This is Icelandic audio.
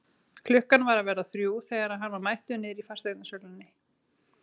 Klukkan var að verða þrjú þegar hann var mættur niðri í fasteignasölunni.